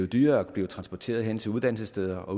dyrere at blive transporteret hen til uddannelsessteder og